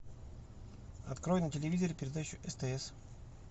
открой на телевизоре передачу стс